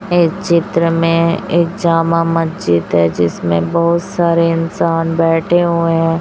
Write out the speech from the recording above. येह चित्र में एक जामा मस्जिद है जिसमें बहुत सारे इंसान बैठे हुए हैं।